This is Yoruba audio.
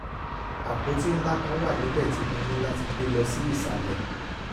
àpótí ńlá kan wà níbẹ̀ tí mo ní láti gbé lọ sí ìsàlẹ̀